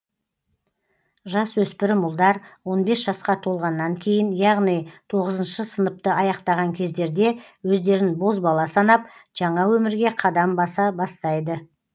жас өспірім ұлдар он бес жасқа толғаннан кейін яғни тоғызыншы сыныпты аяқтаған кездерде өздерін бозбала санап жаңа өмірге қадам баса бастайды